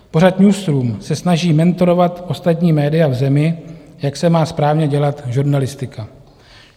Pořad Newsroom se snaží mentorovat ostatní média v zemi, jak se má správně dělat žurnalistika.